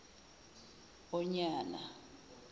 onyana